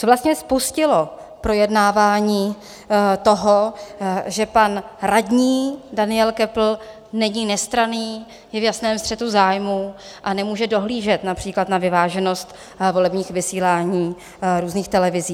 Co vlastně spustilo projednávání toho, že pan radní Daniel Köppl není nestranný, je v jasném střetu zájmů a nemůže dohlížet například na vyváženost volebních vysílání různých televizí?